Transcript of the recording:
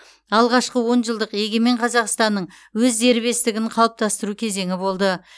алғашқы он жылдық егемен қазақстанның өз дербестігін қалыптастыру кезеңі болды